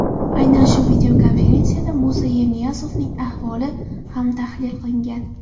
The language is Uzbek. Aynan shu videokonferensiyada Musa Yerniyazovning ahvoli ham tahlil qilingan.